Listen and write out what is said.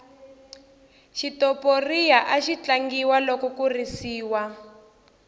xitoporiya axi tlangiwa loko ku risiwa